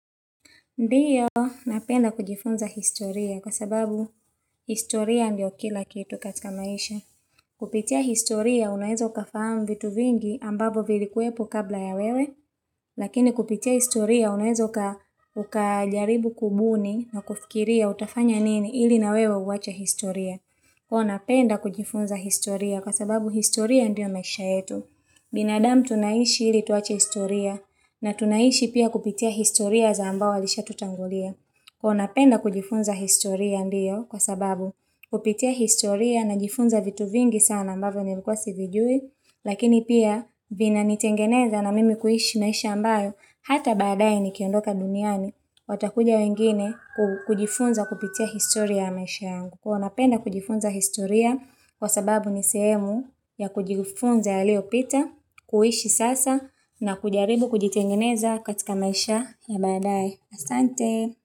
Ndiyo, napenda kujifunza historia kwa sababu historia ndio kila kitu katika maisha. Kupitia historia, unaweza ukafahamu vitu vingi ambavyo vilikuwepo kabla ya wewe, lakini kupitia historia, unaweza ukajaribu kubuni na kufikiria utafanya nini ili na wewe uwacha historia. Huwa napenda kujifunza historia kwa sababu historia ndio maisha yetu. Binadamu tunaishi ili tuwache historia na tunaishi pia kupitia historia za ambao walisha tutangulia. Huwa napenda kujifunza historia ndiyo kwa sababu kupitia historia najifunza vitu vingi sana ambavyo nilikuwa sivijui. Lakini pia vinanitengeneza na mimi huishi maisha ambayo hata badaye nikiondoka duniani. Watakuja wengine kujifunza kupitia historia ya maisha yangu. Huwa napenda kujifunza historia kwa sababu ni sehemu ya kujifunza yaliyopita, kuishi sasa na kujaribu kujitengeneza katika maisha ya badaye. Asante.